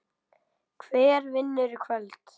Hver vinnur í kvöld?